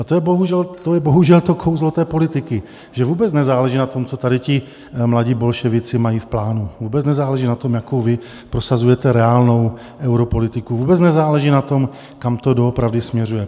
A to je bohužel to kouzlo té politiky, že vůbec nezáleží na tom, co tady ti mladí bolševici mají v plánu, vůbec nezáleží na tom, jakou vy prosazujete reálnou europolitiku, vůbec nezáleží na tom, kam to doopravdy směřuje.